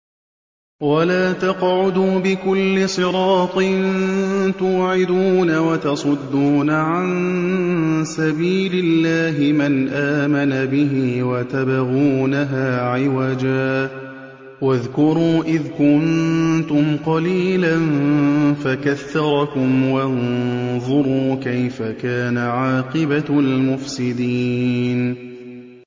وَلَا تَقْعُدُوا بِكُلِّ صِرَاطٍ تُوعِدُونَ وَتَصُدُّونَ عَن سَبِيلِ اللَّهِ مَنْ آمَنَ بِهِ وَتَبْغُونَهَا عِوَجًا ۚ وَاذْكُرُوا إِذْ كُنتُمْ قَلِيلًا فَكَثَّرَكُمْ ۖ وَانظُرُوا كَيْفَ كَانَ عَاقِبَةُ الْمُفْسِدِينَ